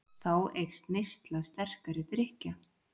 Þá eykst neysla sterkari drykkja.